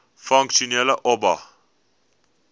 funksionele oba